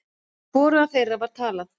Við hvorugan þeirra var talað.